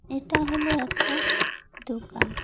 এটা হল একটা দোকান।